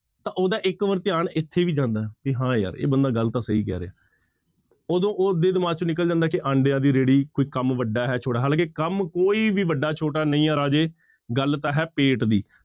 ਤਾਂ ਉਹਦਾ ਇੱਕ ਵਾਰ ਧਿਆਨ ਇੱਥੇ ਵੀ ਜਾਂਦਾ ਹੈ ਵੀ ਹਾਂ ਯਾਰ ਇਹ ਬੰਦਾ ਗੱਲ ਤਾਂ ਸਹੀ ਕਹਿ ਰਿਹਾ ਉਦੋਂ ਉਹਦੇ ਦਿਮਾਗ ਚੋਂ ਨਿਕਲ ਜਾਂਦਾ ਕਿ ਆਂਡਿਆਂ ਦੀ ਰੇਹੜੀ ਕੋਈ ਕੰਮ ਵੱਡਾ ਹੈ ਛੋਟਾ ਹੈ ਹਾਲਾਂਕਿ ਕੰਮ ਕੋਈ ਵੀ ਵੱਡਾ ਛੋਟਾ ਨਹੀਂ ਹੈ ਰਾਜੇ, ਗੱਲ ਤਾਂ ਹੈ ਪੇਟ ਦੀ,